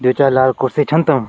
दुई चार कुर्सी छन तम।